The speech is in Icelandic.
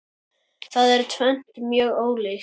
Það er tvennt mjög ólíkt.